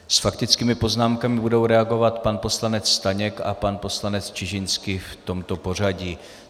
S faktickými poznámkami budou reagovat pan poslanec Staněk a pan poslanec Čižinský, v tomto pořadí.